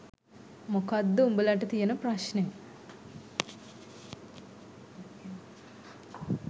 මොකක්ද උඹලට තියෙන ප්‍රශ්නය.